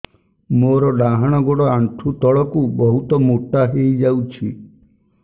ମୋର ଡାହାଣ ଗୋଡ଼ ଆଣ୍ଠୁ ତଳକୁ ବହୁତ ମୋଟା ହେଇଯାଉଛି